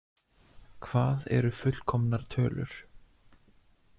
Hvað eru fullkomnar tölur?